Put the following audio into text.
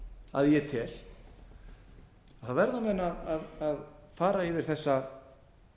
að ég tel verða menn að fara yfir þessa